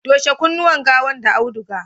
toshe kunnuwan gawan da auduga!